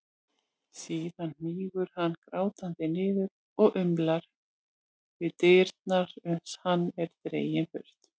Síðan hnígur hann grátandi niður og umlar við dyrnar uns hann er dreginn burt.